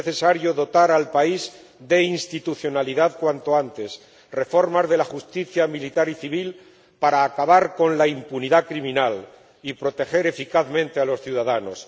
Es necesario dotar al país de institucionalidad cuanto antes y reformar la justicia militar y civil para acabar con la impunidad criminal y proteger eficazmente a los ciudadanos.